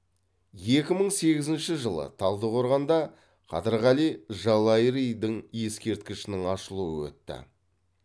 екі мың сегізінші жылы талдықорғанда қадырғали жалайыридің ескерткішінің ашылуы өтті